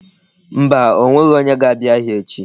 Mba, o nweghi onye ga-abia ahia echi.